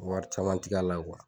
Wari caman ti k'a la